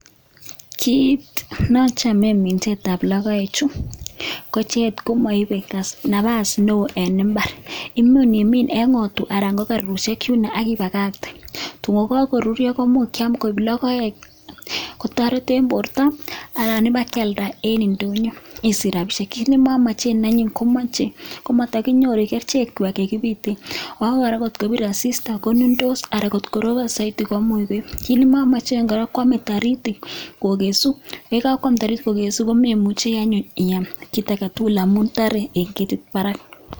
Kit nochomen minsetab logoechu ko icheget komoibe Napa's newoo en imbaar. Imuch iimin en ng'otwaa anan ko kererusiek yun ak ibakaktee, kotun koruryoo koimuch kiam koik logoek. Kotoret en bortoo anan ibakialdaa en indonyoo isich rabisiek. Kit nemomoche anyun komoche ak matakinyooru kerichekchwak chekibiite, ako koraa kot kobir asistaa konundoos ,anan ko koroobon soiti komuch koib. Kit nemomochen kora kwome taritik kokesuusm, ye kakwam taritik kokesuu komemuchi anyun iam kitagetul ngamun toree en ketit barak